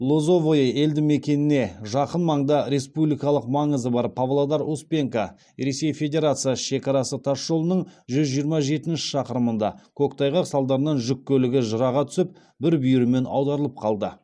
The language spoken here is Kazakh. лозовое елді мекеніне жақын маңда республикалық маңызы бар павлодар успенка ресей федерациясы шекарасы тасжолының жүз жиырма жетінші шақырымында көктайғақ салдарынан жүк көлігі жыраға түсіп бір бүйірімен аударылып қалды